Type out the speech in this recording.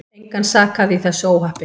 Engan sakaði í þessu óhappi.